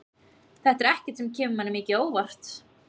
Þetta er ekkert sem kemur manni mikið á óvart.